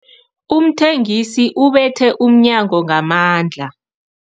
Umthengisi ubethe umnyango ngamandla.